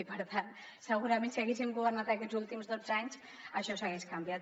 i per tant segurament si haguéssim governat aquests últims dotze anys això s’hagués canviat